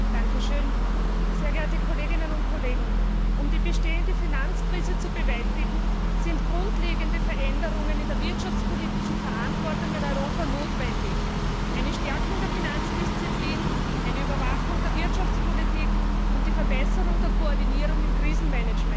Herr Präsident, sehr geehrte Kolleginnen und Kollegen! Um die bestehende Finanzkrise zu bewältigen, sind grundlegende Veränderungen in der wirtschaftspolitischen Verantwortung in Europa notwendig eine Stärkung der Finanzdisziplin, eine Überwachung der Wirtschaftspolitik und die Verbesserung der Koordinierung im Krisenmanagement.